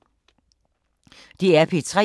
DR P3